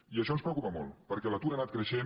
i això ens preocupa molt perquè l’atur ha anat creixent